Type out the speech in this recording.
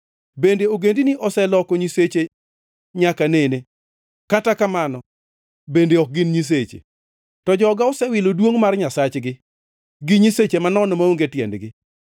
Bende ogendini oseloko nyiseche nyaka nene? (Kata kamano bende ok gin nyiseche.) To joga osewilo duongʼ mar Nyasachgi, gi nyiseche manono maonge tiendgi.